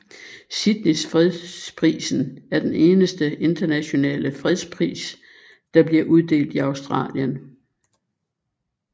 Sydneys fredsprisen er den eneste internationale fredspris der bliver uddelt i Australien